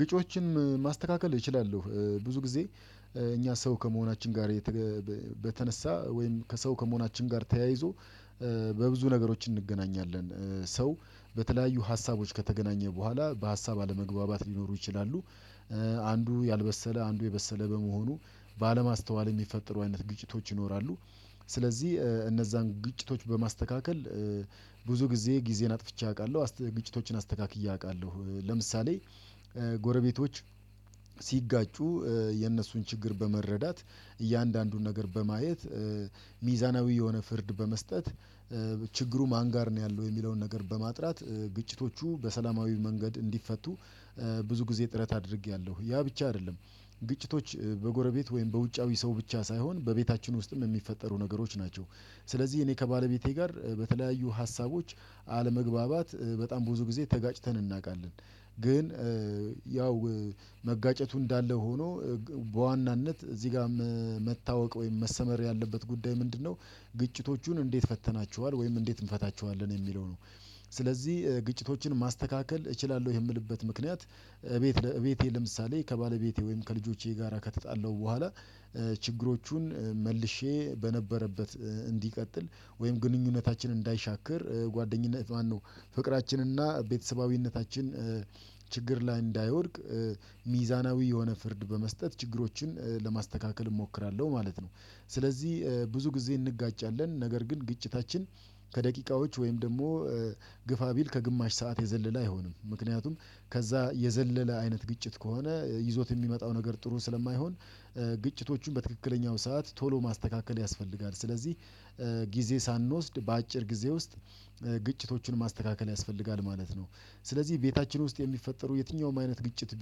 ወጮችን ማስተካከል እችላለሁ ብዙ ጊዜ እኛ ሰው ከመሆናችን ጋር። በተነሳ ወይም ከሰው ከመሆናችን ጋር ተያይዞ። በብዙ ነገሮች እንገናኛለን ሰው በተለያዩ ሀሳቦች ከተገናኘ በኋላ በሀሳብ አለመግባባት ሊኖሩ ይችላሉ። አንዱ ያልበሰለ አንዱ የበሰለ በመሆኑ ባለማስተዋል የሚፈጠሩ አይነት ግጭቶች ይኖራሉ። ስለዚህ እነዛን ግጭቶች በማስተካከል ብዙ ጊዜ ጊዜን አጥፍቼ አውቃለሁ ግጭቶችን አስተካክዬ አውቃለሁ። ለምሳሌ ጎረቤቶች ሲጋጩ የነሱን ችግር በመረዳት እያንዳንዱን ነገር በማየት ሚዛናዊ የሆነ ፍርድ በመስጠት ችግሩ ማን ጋር ነው ያለው የሚለውን ነገር በማጥራት ግጭቶቹ በሰላማዊ መንገድ እንዲፈቱ። ብዙ ጊዜ ጥረት አድርጌያለሁ። ያ ብቻ አይደለም። ግጭቶች በጎረቤት ወይም በውጫዊ ሰው ብቻ ሳይሆን በቤታችን ውስጥም የሚፈጠሩ ነገሮች ናቸው። ስለዚህ እኔ ከባለቤቴ ጋር በተለያዩ ሀሳቦች አለመግባባት በጣም ብዙ ጊዜ ተጋጭተን እናውቃለን። ግን ያው መጋጨቱ እንዳለ ሆኖ በዋናነት እዚህ ጋር መታወቅ ወይም መሰመር ያለበት ጉዳይ ምንድነው? ግጭቶቹን እንዴት ፈተናችኋል ወይም እንዴት እንፈታችኋለን የሚለው ነው። ስለዚህ ግጭቶችን ማስተካከል እችላለሁ የምልበት ምክንያት። እቤቴ ለምሳሌ ከባለቤቴ ወይም ከልጆቼ ጋራ ከተጣለሁ በኋላ። ችግሮቹን መልሼ በነበረበት እንዲቀጥል ወይም ግንኙነታችን እንዳይሻክር ጓደኝነት ማነው? ፍቅራችንና ቤተሰባዊነታችን። ችግር ላይ እንዳይወድቅ። ሚዛናዊ የሆነ ፍርድ በመስጠት ችግሮችን ለማስተካከል እሞክራለሁ ማለት ነው። ስለዚህ ብዙ ጊዜ እንጋጫለን ነገር ግን ግጭታችን። ከደቂቃዎች ወይም ደግሞ ግፋ ቢል ከግማሽ ሰዓት የዘለለ አይሆንም ምክንያቱም ከዛ የዘለለ አይነት ግጭት ከሆነ ይዞት የሚመጣው ነገር ጥሩ ስለማይሆን። ግጭቶቹን በትክክለኛው ሰዓት ቶሎ ማስተካከል ያስፈልጋል። ስለዚህ ጊዜ ሳንወስድ በአጭር ጊዜ ውስጥ ግጭቶቹን ማስተካከል ያስፈልጋል ማለት ነው። ስለዚህ ቤታችን ውስጥ የሚፈጠሩ የትኛውም አይነት ግጭት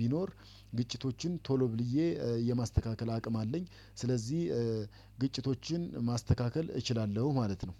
ቢኖር ግጭቶችን ቶሎ ብዬ የማስተካከል አቅም አለኝ። ስለዚህ ግጭቶችን ማስተካከል እችላለሁ ማለት ነው።